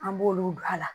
An b'olu don a la